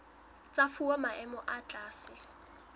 tsa fuwa maemo a tlase